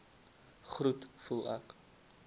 groet voel ek